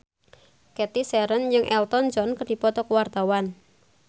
Cathy Sharon jeung Elton John keur dipoto ku wartawan